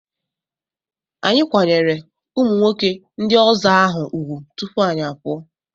Anyị kwanyere ụmụnwoke ndị ọzọ ahụ ugwu tupu anyị apụọ.